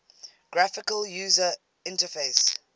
graphical user interface